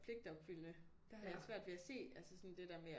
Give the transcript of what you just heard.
Pligtopfyldende jeg havde svært ved at se altså sådan det der med at